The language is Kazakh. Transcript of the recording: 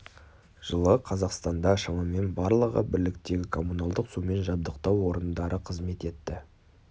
жылы қазақстанда шамамен барлығы бірліктегі коммуналдық сумен жабдықтау орындары қызмет етті